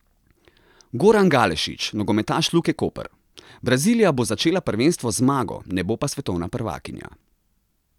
Goran Galešić, nogometaš Luke Koper: "Brazilija bo začela prvenstvo z zmago, ne bo pa svetovna prvakinja.